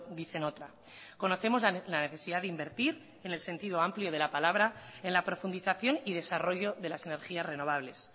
dicen otra conocemos la necesidad de invertir en el sentido amplio de la palabra en la profundización y desarrollo de las energías renovables